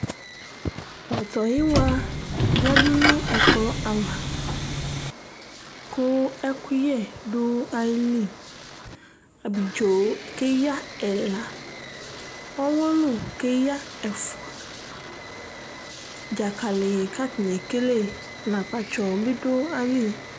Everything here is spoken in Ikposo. pɔtɔyiwa yadu no ɛkplɔ ava ko ɛkoyɛ do ayili abidzo keya ɛla ɔwolo keya ɛfua dzakali k'atani ekele n'akpatsɔ bi do ayili